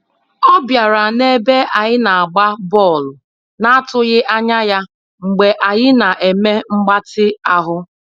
Ọ bịara n'ebe anyị na-agba bọọlụ na atụghị anya ya Mgbe anyị na-eme mgbatị ahụ.